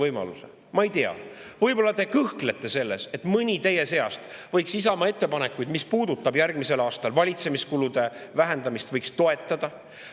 Ma ei tea, võib-olla te kõhklete, äkki mõni teie seast võiks Isamaa ettepanekuid, mis puudutavad järgmise aasta valitsemiskulude vähendamist, toetada.